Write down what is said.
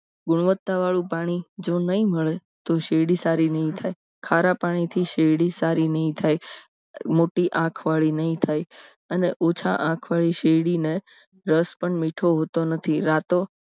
ગુણવત્તા વાળું પાણી જો નહીં મળે તો શેરડી સારી નહીં થાય ખારા પાણીથી શેરડી સારી નહીં થાય મોટી આંખ વાળી નહીં થાય અને ઓછા આંખ વાળી શેરડીના રસ પણ મીઠું હોતો નથી રાતો